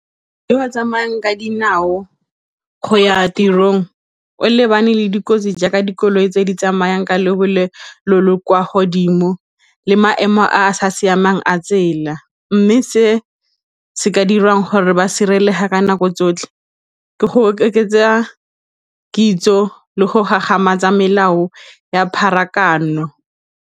E ba tsamaya ka dinao go ya tirong o lebane le dikotsi jaaka dikoloi tse di tsamayang ka lebelo le kwa godimo le maemo a a sa siamang a tsela mme se se ka dirang gore ba sireletsega ka nako tsotlhe ke go oketsa kitso le go gagamatsa melao ya pharakano.